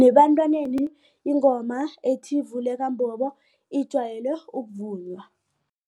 Nebantwaneni ingoma ethi, vuleka mbobo ijwayele ukuvunywa.